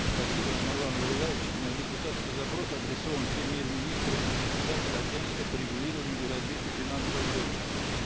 спасибо нурлан зайроллаевич мой депутатский запрос адресован премьер министру и председателю агентства по регулированию и развитию финансового рынка